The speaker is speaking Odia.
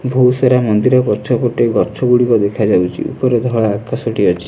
ବହୁତ ସାରା ମନ୍ଦିର ପଛପଟେ ଗଛ ଗୁଡିକ ଦେଖାଯାଉଛି ଉପରେ ଧଳା ଆକାଶ ଟି ଅଛି।